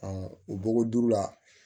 o bɔgɔ duuru la